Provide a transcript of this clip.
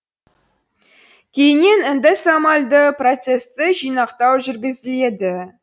кейіннен эндосомальді процессті жинақтау жүргізіледі